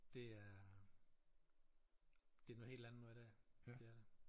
Det er det noget helt andet noget i dag det er det